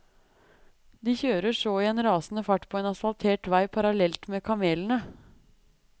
De kjører så i en rasende fart på en asfaltert vei parallelt med kamelene.